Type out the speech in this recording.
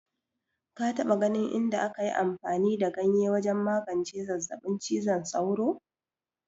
Ka taɓa ganin inda aka yi amfani da ganye wajen magance zazzabin cizon sauro?